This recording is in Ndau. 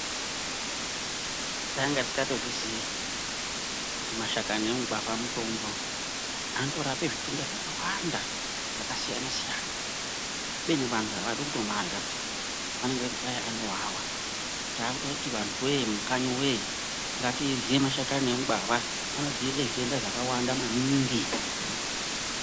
Takanga tisingatozvizii kuti mashakani emugwavha mutombo. Anotorape zvitenda zvakawanda zvakasiyana siyana kubeni vantu aadi kutomarya peyani. Anenge eiti hai kwai anowawa. Taakutoti antuwee mukanyi ngatirye mashakani emugwavha, anodzivirira zvitenda zvakawanda maningi.